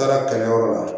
Taara kɛlɛyɔrɔ la